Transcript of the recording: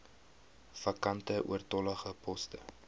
vakante oortollige poste